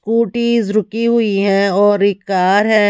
Scooty रुकी हुई है और एक कार है।